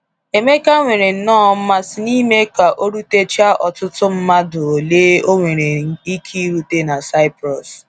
Emeka nwerenọọ mmasị n’ime ka o rutechaa ọtụtụ mmadụ ole ọ nwere ike irute na Saịprọs.